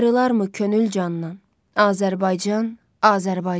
Ayrılarmı könül candan, Azərbaycan, Azərbaycan.